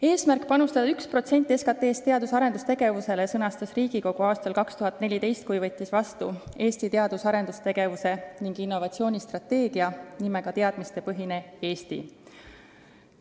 Eesmärgi panustada 1% SKT-st teadus- ja arendustegevuse huvides sõnastas Riigikogu aastal 2014, kui võttis vastu Eesti teadus- ja arendustegevuse ning innovatsiooni strateegia pealkirjaga "Teadmistepõhine Eesti".